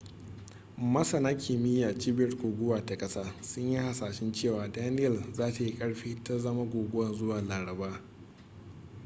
masana kimiyya a cibiyar guguwa ta kasa sun yi hasashen cewa danielle za ta yi ƙarfi ta zama guguwa zuwa laraba